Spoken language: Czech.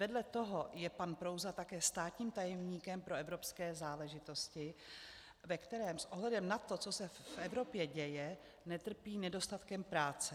Vedle toho je pan Prouza také státním tajemníkem pro evropské záležitosti, ve kterém s ohledem na to, co se v Evropě děje, netrpí nedostatkem práce.